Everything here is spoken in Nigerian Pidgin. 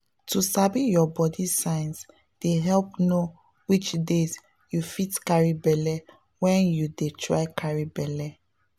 to sabi your body signs dey help know which days you fit carry belle when you dey try carry belle.